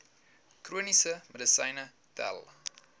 chroniese medisyne tel